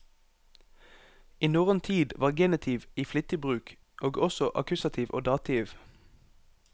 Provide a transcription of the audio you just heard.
I norrøn tid var genitiv i flittig bruk, og også akkusativ og dativ.